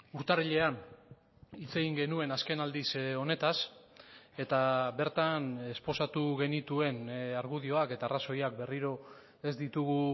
urtarrilean hitz egin genuen azken aldiz honetaz eta bertan esposatu genituen argudioak eta arrazoiak berriro ez ditugu